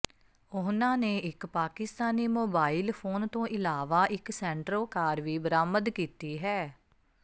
ਉਨ੍ਹਾਂ ਨੇ ਇੱਕ ਪਾਕਿਸਤਾਨੀ ਮੋਬਾਈਲ ਫੋਨ ਤੋਂ ਇਲਾਵਾ ਇੱਕ ਸੈਂਟਰੋ ਕਾਰ ਵੀ ਬਰਾਮਦ ਕੀਤੀ ਹੈ